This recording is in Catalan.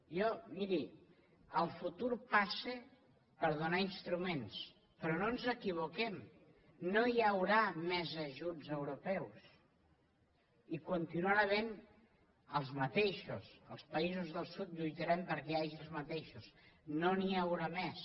jo miri el futur passa per donar instruments però no ens equivoquem no hi haurà més ajuts europeus hi continuarà havent els mateixos els països del sud lluitarem perquè hi hagi els mateixos no n’hi haurà més